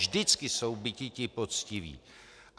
Vždycky jsou biti ti poctiví.